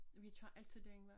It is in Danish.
Vi tager altid den vej